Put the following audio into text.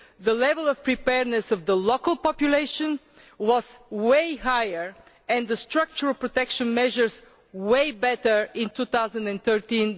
the level of preparedness of the local population was much higher and the structural protection measures much better in 2013